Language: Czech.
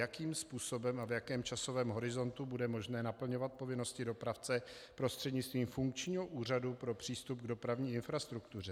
Jakým způsobem a v jakém časovém horizontu bude možné naplňovat povinnosti dopravce prostřednictvím funkčního Úřadu pro přístup k dopravní infrastruktuře?